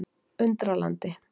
Undralandi